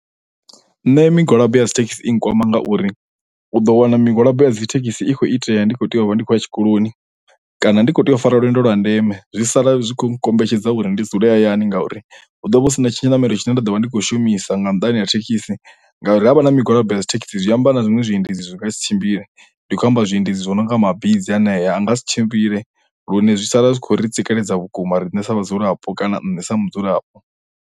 Nṋe migwalabo ya dzithekhisi i nkwama ngauri u ḓo wana migwalabo ya dzithekhisi i khou itea ndi khou tea u vha ndi khou ya tshikoloni kana ndi kho tea u fara lwendo lwa ndeme zwi sala zwi kho nkombetshedza uri ndi dzule hayani ngauri hu ḓovha hu sina tshiṋamelo tshine nda ḓo vha ndi khou shumisa nga nnḓani ha thekhisi ngauri havha na migwalabo ya dzithekhisi zwi amba na zwiṅwe zwiendedzi zwi nga si tshimbile ndi khou amba zwiendedzi zwo no nga mabizi hanea a nga si tshimbile lune zwi sala zwi kho ri tsikeledza vhukuma riṋe sa vhadzulapo kana nṋe sa mudzulapo.